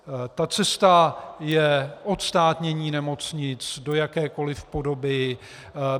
Ta cesta je odstátnění nemocnic do jakékoli podoby.